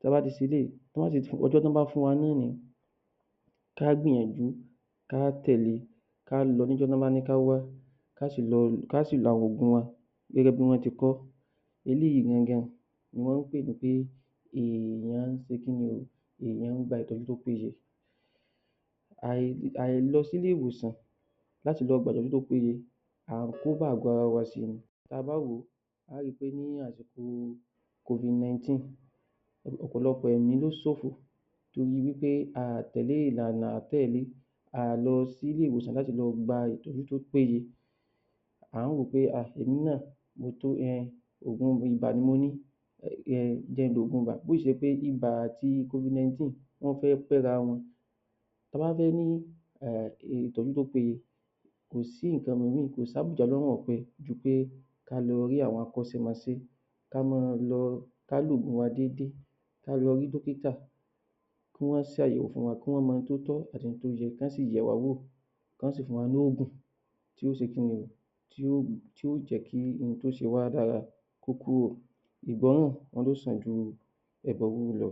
Ta bá ti ṣe eléyìí, tán bá sì ti, ọjọ́ tán bá fún wa ní ká gbìyànjú ká tẹ̀le, ká lọ níjọ́ tán bá ní ká wá, ká sì lo àwọn ògùn wa gẹ́gẹ́bí wọ́n ti kọ́. Eléyìí gangan ní wọ́n pè ní èèyàn ṣe kí ni o, èèyàn gba ìtọ́jú tó péye. Àì àìlọ sí ilé-ìwòsàn láti lọ gba ìtọ́jú tó péye, à ń kó bá àgọ ara wa si ni. Ta bá wòó a ri pé ní àsìkò Covid-19 ọ̀pọ̀lọpọ̀ ẹ̀mí ló ṣòfò tó di wí pé a à tẹ̀lẹ́ ìlànà àá tẹ̀lẹ́, a à lọ sí ilé-ìwòsàn láti lọ gba ìtọ́jú tó péye. À ń wòó pé um èmi náà mo tó um ògùn ibà ni mo ní, um jẹ́ n lògun ibà bó sì ṣe pé ibà àti covid-19 wọ́n fẹ́ pẹ́ra wọn, tá bá fẹ́ ní um ìtọ́jú tó péye, kò sí nǹkan kò sí àbùjá lọ́rùn ọ̀pẹ ju pé ká lọ rí àwọn akọ́ṣẹ́mọṣẹ́, ká máa lọ, ká lògùn wa dédé, ká lọ rí dọ́kítà, kí wọ́n ṣàyẹ̀wò fún wa, kí wọ́n mọ ohun tó tọ́ àti n tó yẹ, kán sì yẹ̀wá wò, kán sì fún wa nógùn tí ó ṣe kí ni, tí ó tí ó jẹ́ kí n tó ṣe wa lára kó kúrò. Ìgbọ́nràn wọ́n ló sàn ju ẹbọ rúrú lọ.